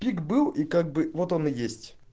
кик был и как бы вот он и есть